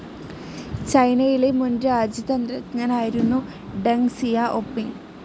ചൈനയിലെ മുൻ രാജ്യതന്ത്രജ്ഞനായിരുന്നു ഡെങ് സിയാഒപിങ്.